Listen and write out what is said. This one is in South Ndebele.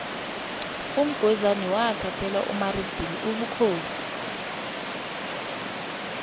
umgwezani wathathela umaridili ubukhosi